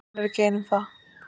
En hún er ekki ein um það.